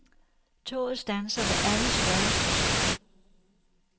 Toget standser ved alle større stationer.